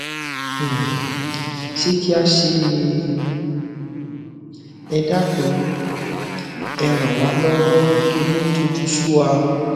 um sé kí a ṣe é ni um ẹ dákun um ẹ ràn wá lọwọ torí ó tojú sú wa